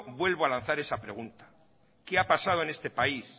vuelvo a lanzar esa pregunta qué ha pasado en este país